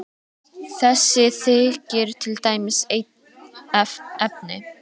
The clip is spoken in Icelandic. Þessi þykir til dæmis einn efni.